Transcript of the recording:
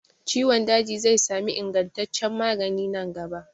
Ciwon daji zai sami ingantaccen magani nan gaba.